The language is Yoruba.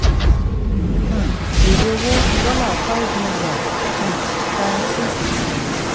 um èrè owó dollar five million times six percent